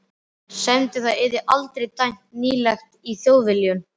semdi það yrði aldrei dæmt nýtilegt í Þjóðviljanum.